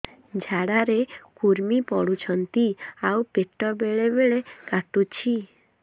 ଝାଡା ରେ କୁର୍ମି ପଡୁଛନ୍ତି ଆଉ ପେଟ ବେଳେ ବେଳେ କାଟୁଛି